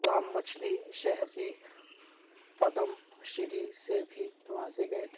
سلام مچھلی شہر ی پدم شری سے بھی نوازے گئے تھے